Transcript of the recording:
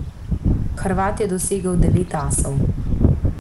Hrvat je dosegel devet asov.